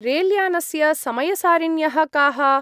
रेल्यानस्य समयसारिण्यः काः?